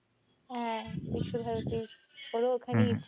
হ্যাঁ, কলকাতার বিশ্বভারতীর, ওরা ওখানেই